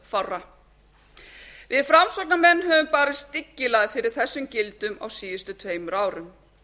örfárra við framsóknarmenn höfum barist dyggilega fyrir þessum gildum á síðustu tveimur árum